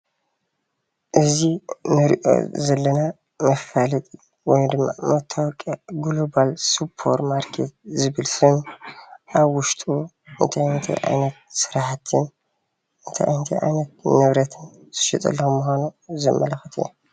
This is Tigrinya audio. እዚ እንሪኦ ዘለና መፋለጢ ወይ ድማ መታወቅያ ጉለባል ሱፐርማርኬት ዝብል ሽም ኣብ ውሽጡ እንታይ እንታይ ዓይነት ስራሕቲ እንታይ እንታይ ዓይነት ንብረታት ዝሽየጠሎም ምኳኑ ዘመላክት እዩ፡፡